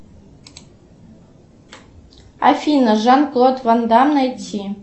афина жан клод ван дамм найти